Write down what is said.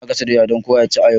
Ina gasa doya don kowa ya ci a yau.